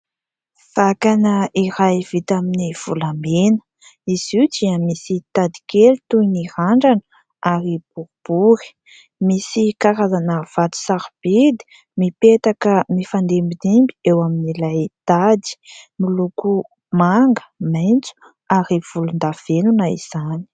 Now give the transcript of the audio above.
Vakana iray vita amin'ny volamena ; izy io dia misy tady kely toy ny randrana ary boribory misy karazana vato sarobidy mipetaka mifandimbidimby eo amin'ilay tady miloko manga, maintso ary volondavenona izany.